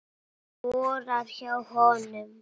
Skora hjá honum??